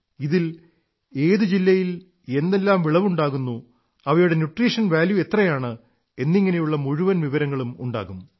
ഇതിൽ ഏതു ജില്ലയിൽ എന്തെല്ലാം വിളവുണ്ടാകുന്നു അവയുടെ ന്യൂട്യീഷൻ വാല്യൂ എത്രയാണ് എന്നിങ്ങനെയുള്ള മുഴുവൻ വിവരങ്ങളുമുണ്ടാകും